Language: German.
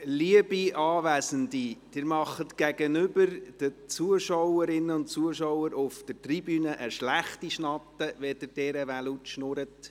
Liebe Anwesende, Sie machen gegenüber den Zuschauerinnen und Zuschauern auf der Tribüne einen schlechten Eindruck, wenn Sie derart laut sprechen.